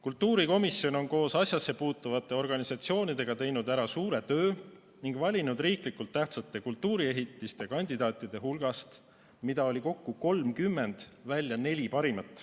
Kultuurikomisjon on koos asjasse puutuvate organisatsioonidega teinud ära suure töö ning valinud riiklikult tähtsate kultuuriehitiste kandidaatide hulgast, mida oli kokku 30, välja neli parimat.